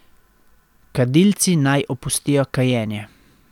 Kadilci naj opustijo kajenje.